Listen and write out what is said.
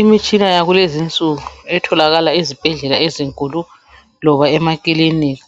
Imitshina yakulezi nsuku etholakala ezibhedlela ezunkulu loba emakilinika